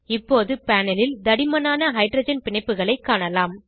இப்போது பேனல் ல் தடிமனான ஹைட்ரஜன் பிணைப்புகளைக் காணலாம்